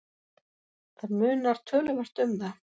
Það munar töluvert um það.